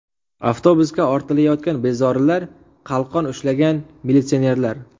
Avtobusga ortilayotgan bezorilar, qalqon ushlagan militsionerlar.